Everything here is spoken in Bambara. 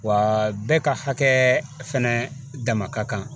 Wa bɛɛ ka hakɛ fɛnɛ dama ka kan